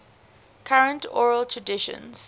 current oral traditions